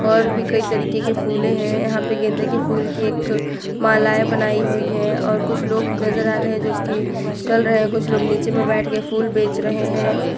और भी कई तरीके के फुले है यहां पे गेंदे के फूल की एक मालाएं बनाई हुई है और कुछ लोग नजर आ रहे हैं जो की चल रहे हैं कुछ लोग नीचे में बैठ के फूल बेच रहे हैं।